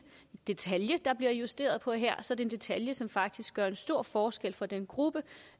detalje der bliver justeret på her så er det en detalje som faktisk gør en stor forskel for den gruppe